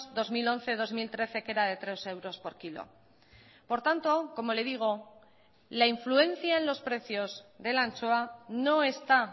dos mil once dos mil trece que era de tres euros por kilo por tanto como le digo la influencia en los precios de la anchoa no está